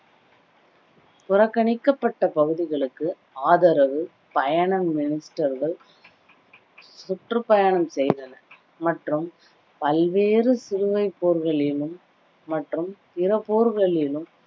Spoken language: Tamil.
புறக்கணிக்கப்பட்ட பகுதிகளுக்கு ஆதரவு பயண minister கள் சுற்று பயணம் செய்தனர் மற்றும் பல்வேறு சிலுவை போர்களிலும் மற்றும் பிற போர்களிலும்